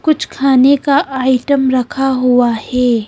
कुछ खाने का आइटम रखा हुआ हे ।